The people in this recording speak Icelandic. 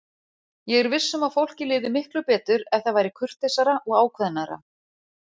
Ég er viss um að fólki liði miklu betur ef það væri kurteisara og ákveðnara.